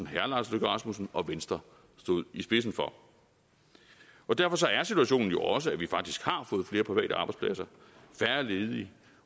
herre lars løkke rasmussen og venstre stod i spidsen for og derfor er situationen jo også at vi faktisk har fået flere private arbejdspladser og færre ledige